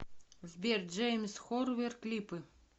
сбер джеймс хорнер клипы